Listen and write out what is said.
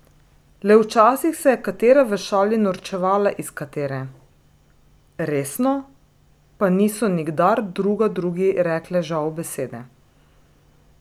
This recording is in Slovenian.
Le včasih se je katera v šali norčevala iz katere, resno pa niso nikdar druga drugi rekle žal besede.